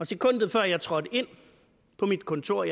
sekundet før jeg trådte ind på mit kontor